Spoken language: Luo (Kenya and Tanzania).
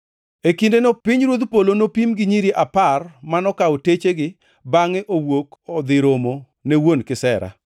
“E kindeno pinyruodh polo nopim gi nyiri apar manokawo techegi bangʼe owuok odhi romo ne wuon kisera.